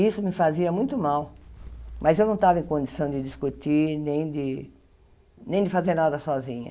Isso me fazia muito mal, mas eu não estava em condição de discutir nem de nem de fazer nada sozinha.